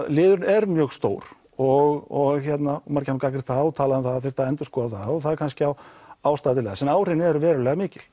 liðurinn er mjög stór og margir gagnrýnt það og talað um að endurskoða það það er kannski ástæða til þess en áhrifin eru verulega mikil